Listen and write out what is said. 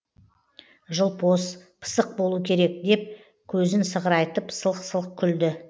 жылпос пысық болу керек деп көзін сығырайтып сылқ сылқ күлді